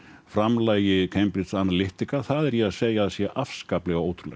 framlagi Cambridge Analytica er ég að segja að sé afskaplega ótrúlegt